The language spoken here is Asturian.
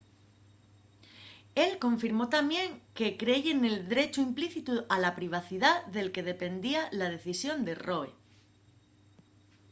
él confirmó tamién que creye nel drechu implícitu a la privacidá del que dependía la decisión de roe